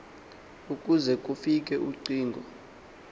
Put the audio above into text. ukuze kufik uxhego